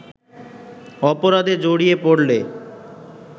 অপরাধে জড়িয়ে পড়লে